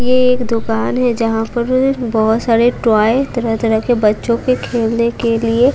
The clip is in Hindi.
ये एक दुकान है जहां पर बहुत सारे टॉय तरह तरह के बच्चों के खेलने के लिए--